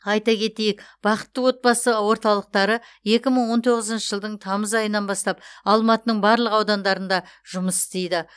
айта кетейік бақытты отбасы орталықтары екі мың он тоғызыншы жылдың тамыз айынан бастап алматының барлық аудандарында жұмыс істейді